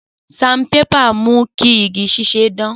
Sanbébà mu ki igi ṣiṣẹ dan.